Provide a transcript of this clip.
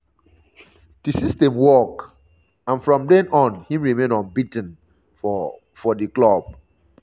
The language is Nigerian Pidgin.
di system work and from den on im remain unbea ten for for di club.